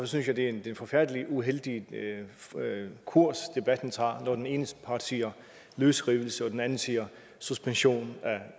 synes jeg det er en forfærdelig uheldig kurs debatten tager når den ene part siger løsrivelse og den anden siger suspension af